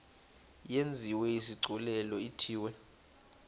yenziwe isigculelo ithiwe